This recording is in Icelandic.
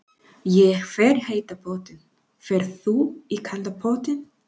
Ég fer í heita pottinn. Ferð þú í kalda pottinn?